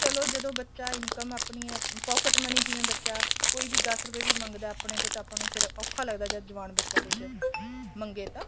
ਕਹਿਲੋ ਬੱਚਾ ਜਦੋਂ income ਆਪਣੀ pocket money ਜਿਵੇਂ ਬੱਚਾ ਕੋਈ ਵੀ ਦਸ ਰੁਪਏ ਵੀ ਮੰਗਦਾ ਆਪਣੇ ਤੋਂ ਤਾਂ ਆਪਾਂ ਨੂੰ ਵੀ ਫੇਰ ਔਖਾ ਲੱਗਦਾ ਜਦ ਜਵਾਨ ਬੱਚਾ ਕੁੱਝ ਮੰਗੇ ਤਾਂ